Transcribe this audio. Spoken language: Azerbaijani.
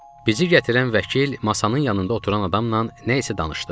Bizi gətirən vəkil masanın yanında oturan adamla nə isə danışdı.